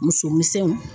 Muso misɛnw